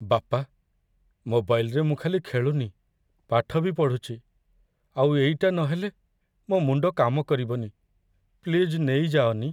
ବାପା, ମୋବାଇଲ୍‌ରେ ମୁଁ ଖାଲି ଖେଳୁନି, ପାଠ ବି ପଢ଼ୁଚି, ଆଉ ଏଇଟା ନହେଲେ ମୋ' ମୁଣ୍ଡ କାମକରିବନି । ପ୍ଲିଜ୍, ନେଇଯାଅନି ।